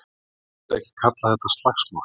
Ég myndi ekki kalla þetta slagsmál.